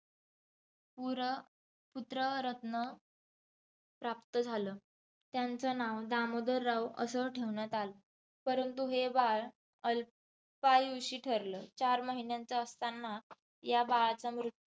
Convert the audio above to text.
पुरपुत्ररत्न प्राप्त झालं. त्यांचं नाव दामोदरराव असं ठेवण्यात आलं. परंतु बाळ अल्पायुषी ठरले. चार महिन्यांचं असताना या बाळाचा मृत्यू